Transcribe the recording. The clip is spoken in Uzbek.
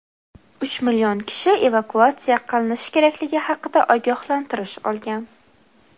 Uch million kishi evakuatsiya qilinishi kerakligi haqida ogohlantirish olgan.